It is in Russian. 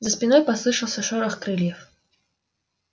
за спиной послышался шорох крыльев